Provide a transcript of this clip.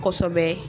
Kosɛbɛ